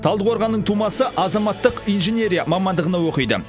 талдықорғаннын тумасы азаматтық инжинерия мамандығында оқиды